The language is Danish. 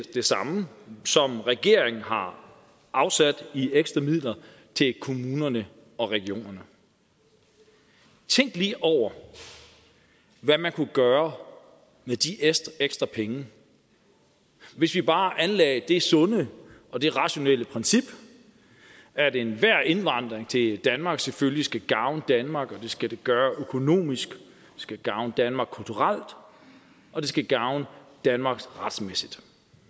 det samme som regeringen har afsat i ekstra midler til kommunerne og regionerne tænk lige over hvad man kunne gøre med de ekstra penge hvis vi bare anlagde det sunde og det rationelle princip at enhver indvandring til danmark selvfølgelig skal gavne danmark og det skal det gøre økonomisk det skal gavne danmark kulturelt og det skal gavne danmark retsmæssigt